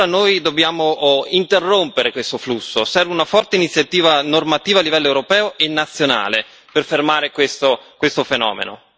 Noi dobbiamo interrompere questo flusso serve una forte iniziativa normativa a livello europeo e nazionale per fermare questo fenomeno.